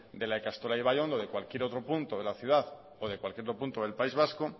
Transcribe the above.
de la ikastola de ibaiondo de cualquier otro punto de la ciudad o de cualquier otro punto del país vasco